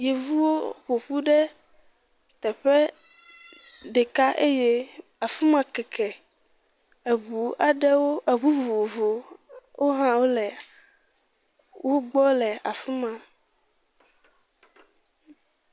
Yevuwo ƒoƒu ɖe teƒe ɖeka eye af ma kɛkɛ, eŋu aɖewo eŋu vovovo o hã wole wogbɔ le afi ma.